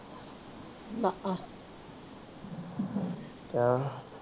ਚੱਲ